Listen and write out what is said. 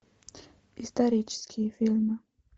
исторические фильмы